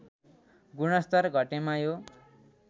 गुणस्तर घटेमा यो